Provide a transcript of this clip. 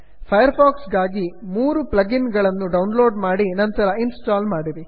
fire fox ಗಾಗಿ 3 plugin ಗಳನ್ನು download ಮಾಡಿ ನಂತರ ಇನ್ಸ್ಟಾಲ್ ಮಾಡಿ